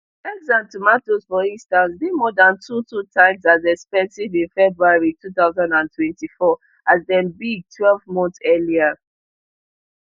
eggs and tomatoes for instance dey more dan two two times as expensive in february two thousand and twenty-four as dem be twelve months earlier